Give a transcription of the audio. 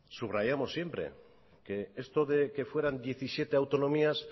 subrayamos siempre que esto de que fueran diecisiete autonomías